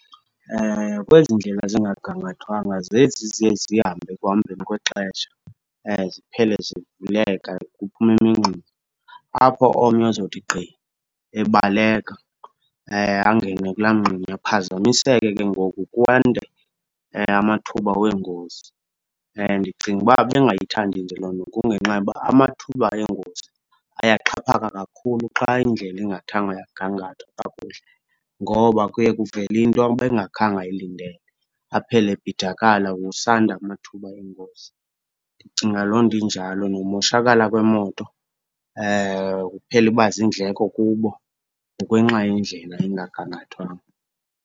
Kwezi ndlela zingagangathwanga zezi ziye zihambe ekuhambeni kwexesha ziphele zivuleka, kuphume imingxunya. Apho omnye azothi gqi ebaleka angene kulaa mngxunya, aphazamiseke ke ngoku kwande amathuba weengozi. Ndicinga uba bengayithandi nje loo nto kungenxa yoba amathuba eengozi ayaxhaphaka kakhulu xa indlela ingathanga yagangathwa kakuhle, ngoba kuye kuvele into ebengakhange ayilindele, aphele ebhidakala kusanda amathuba engozi. Ndicinga loo nto injalo, nomoshakala kwemoto kuphele iba ziindleko kubo ngokwenxa yendlela engagangathwanga.